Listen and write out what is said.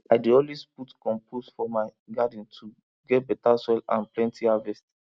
i dey always put compost for my garden to get better soil and plenty harvest